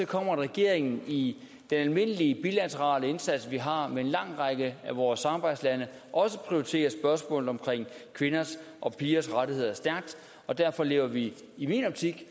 kommer at regeringen i den almindelige bilaterale indsats vi har sammen med en lang række af vores samarbejdslande også prioriterer spørgsmålet omkring kvinders og pigers rettigheder stærkt derfor lever vi i min optik